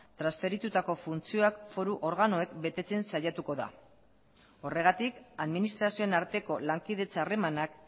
transferitutako funtzioak foru organoek betetzen saiatuko da horregatik administrazioen arteko lankidetza harremanak